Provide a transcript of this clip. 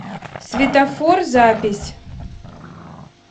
светофор запись